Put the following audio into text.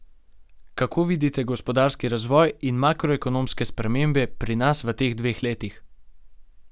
Kako vidite gospodarski razvoj in makroekonomske spremembe pri nas v teh dveh letih?